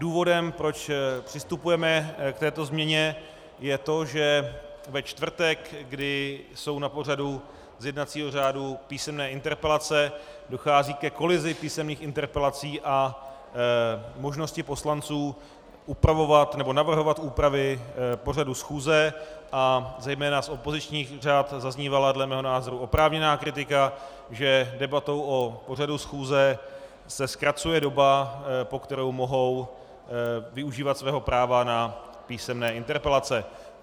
Důvodem, proč přistupujeme k této změně, je to, že ve čtvrtek, kdy jsou na pořadu z jednacího řádu písemné interpelace, dochází ke kolizi písemných interpelací a možnosti poslanců upravovat nebo navrhovat úpravy pořadu schůze a zejména z opozičních řad zaznívala dle mého názoru oprávněná kritika, že debatou o pořadu schůze se zkracuje doba, po kterou mohou využívat svého práva na písemné interpelace.